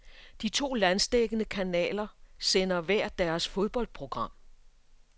De to landsdækkende kanaler sender hver deres fodboldprogram.